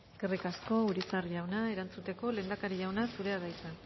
eskerrik asko urizar jauna erantzuteko lehendakari jauna zurea da hitza